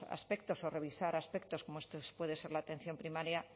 aspectos o revisar aspectos como puede ser la atención primaria